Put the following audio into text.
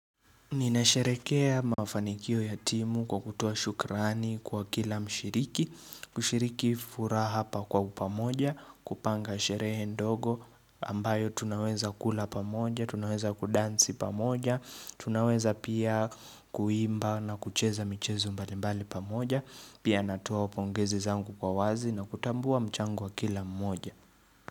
Ninasherekea mafanikio ya timu kwa kutoa shukrani kwa kila mshiriki kushiriki fura hapa kwa upamoja kupanga sherehe ndogo ambayo tunaweza kula pamoja Tunaweza kudansi pamoja tunaweza pia kuimba na kucheza michezo mbalimbali pamoja Pia natowa pongezi zangu kwa wazi na kutambua mchango wa kila mmoja.